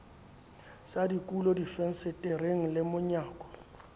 sa dikulo difensetereng le monyako